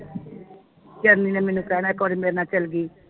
ਝਾਈ ਦੇ ਦੇ ਨੇ ਮੈਨੂੰ ਕਹਿਣਾ ਇਕ ਵਾਰੀ ਮੇਰੇ ਨਾਲ ਚਲਗੀ